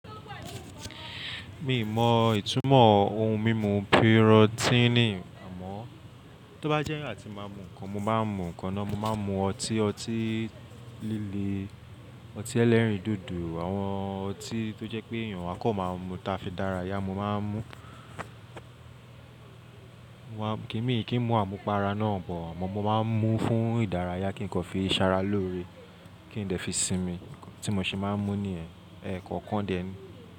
Mi mọ ìtumọ̀ ohun mímu pírọ́tíìnì, àmọ́ tó bá jẹ́ ìgbà tí màá mú nǹkan, mo máa ń mú nǹkan náà. Mo máa ń mú ọtí, ọtí líle, ọtí ẹlẹ́rìndòdò, àwọn ọtí tó jẹ́ pé èèyàn àkọ́kọ́ máa ń mú táa fi dárayá, mo máa ń mú. Ki mi, kí n mu àmupara náà bọ àmọ́ mo máa ń mú fún ìdárayá kí n kọ fi ṣara lóore, kí n dẹ̀ fi sinmi. Ẹ̀ẹ̀kan tí mo ṣe máa ń mú ní yen ẹ̀ẹ̀kọ̀kan dèé.